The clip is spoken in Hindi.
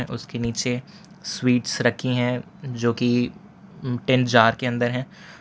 उसके नीचे स्वीट्स रखी हैं जो की टेन जार के अंदर हैं।